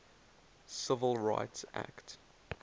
civil rights act